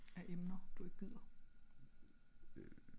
af emner du ik gider?